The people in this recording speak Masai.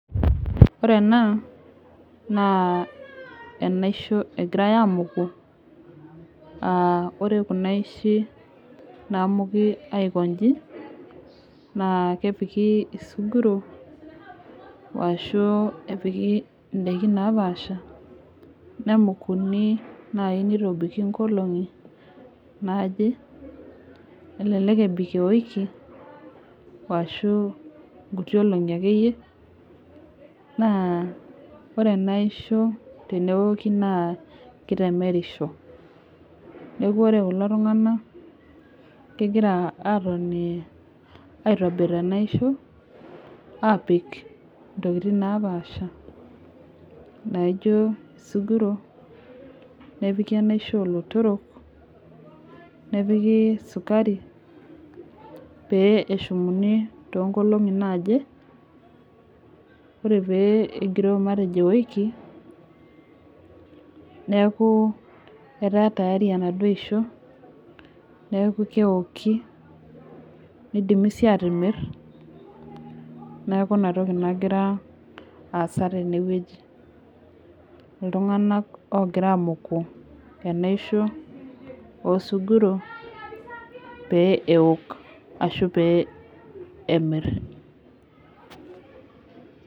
Ore ena naa enaisho egirai amuku, aa kore kuna aishi namuki aikonji, naa kepiki isunkuro, o ashu epiki indaikin napaasha, nekukuni naaji neitobiki inkolong'i naaje, elelek ebik ewiki, o ashu inkuti olong'i ake iyie, naa ore ena aisho teneoki naa keitemerisho. Neaku ore kulo tung'ana egira aatoni aitobir enaisho apik intokitin napaasha naijo isunkuro, nepiki enaisho oolotoro, nepiki esukari pee eshumuni too inkolong'i naaje. Ore pee egiroo matejo ewiki, neaku etaa tiyari enaduo aishoo neaku keoki, neidimi sii atimir, neaku ina toki nagira aasa tene wueji, iltung'anak oogira amuku enaisho oo sunkuro, pee eok ashu pee emir.